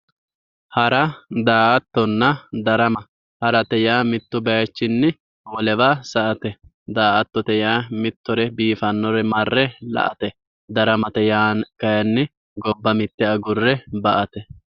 hara, daa'attonna ,darama hara yaa mittu bayiichinni wolewa sa'ate, daa'attote yaa mittore biifannore marre la'ate daramate yaa kayiinni gobba mitte agurre ba''ate.